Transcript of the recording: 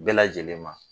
Bɛɛ lajɛlen ma